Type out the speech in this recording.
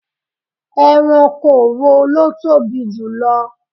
Ẹranko wo ló tóbi jù lọ?